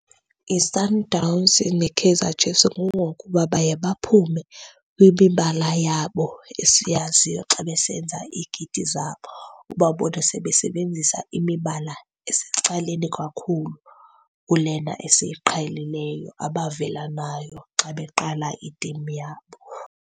YiSundowns neKaizer Chiefs. Kungokuba baye baphume kwimibala yabo esiyaziyo xa besenza iikiti zabo, ubabone sebesebenzisa imibala esecaleni kakhulu kulena esiyiqhelileyo abavela nayo xa beqala itimu yabo.